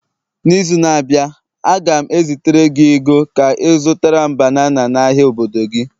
n'izu na-abịa, a ga m ezitere gị ego Ka ị zụtara m banana n'ahịa obodo gị